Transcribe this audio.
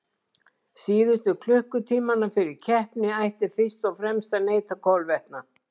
Síðustu klukkutímana fyrir keppni ætti fyrst og fremst að neyta kolvetna.